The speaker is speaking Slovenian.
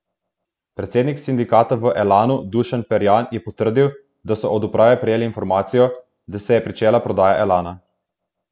Predsednik sindikata v Elanu Dušan Ferjan je potrdil, da so od uprave prejeli informacijo, da se je pričela prodaja Elana.